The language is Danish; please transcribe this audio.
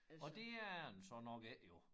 Og det er den så nok ikke jo